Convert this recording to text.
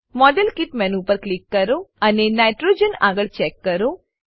model kit menu પર click કરો અને નાઇટ્રોજન આગળ ચેક કરો